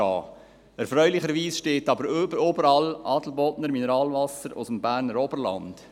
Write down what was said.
Erfreulicherweise steht aber überall Adelbodner Mineralwasser aus dem Berner Oberland.